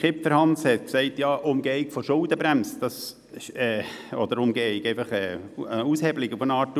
Hans Kipfer hat die Aushebelung der Schuldenbremse angetönt.